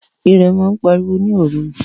Írẹ̀ màa n pàriwo ni oru